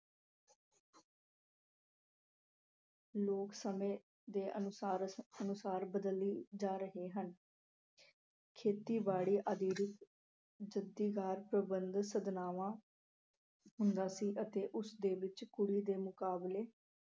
ਲੋਕ ਸਮੇਂ ਦੇ ਅਨੁਸਾਰ ਅਹ ਅਨੁਸਾਰ ਬਦਲੀ ਜਾ ਰਹੇ ਹਨ। ਖੇਤੀਬਾੜੀ ਹੁੰਦਾ ਸੀ ਅਤੇ ਉਸ ਦੇ ਵਿੱਚ ਕੁੜੀ ਦੇ ਮੁਕਾਬਲੇ